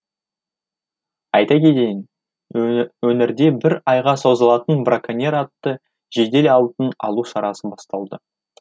айта кетейін өңірде бір айға созылатын браконьер атты жедел алдын алу шарасы басталды